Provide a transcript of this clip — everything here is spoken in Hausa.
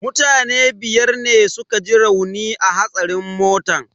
Mutane biyar ne suka ji rauni a hatsarin motan.